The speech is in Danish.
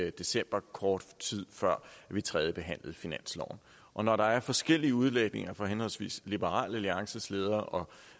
i december kort tid før vi tredjebehandlede finansloven og når der er forskellige udlægninger fra henholdsvis liberal alliances leder og